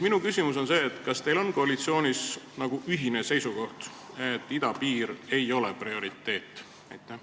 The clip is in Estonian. Kas koalitsioonis on ühine seisukoht, et idapiir ei ole prioriteet?